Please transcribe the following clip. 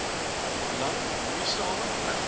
lang moeisame weg